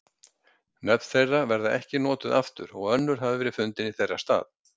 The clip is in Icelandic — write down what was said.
Nöfn þeirra verða ekki notuð aftur og önnur hafa verið fundin í þeirra stað.